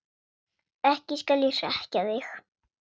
Ekki skal ég hrekkja þig.